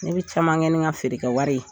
Ne bɛ caman kɛ ni n ka feerekɛwari ye